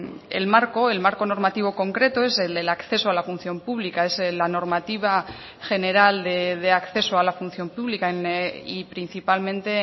el marco el marco normativo concreto es el del acceso a la función pública es la normativa general de acceso a la función pública y principalmente